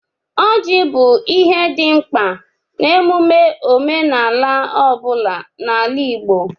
Ọjị bụ ihe dị mkpa n'emume omenala ọ bụla n'ala Igbo.